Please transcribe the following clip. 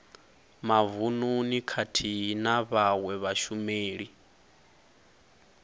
mavununi khathihi na vhawe vhashumeli